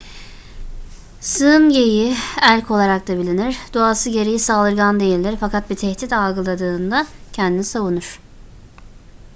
sığın geyiği elk olarak da bilinir doğası gereği saldırgan değildir fakat bir tehdit algıladığında kendini savunur